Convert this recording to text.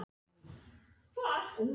Það var það eina sem ég átti eftir.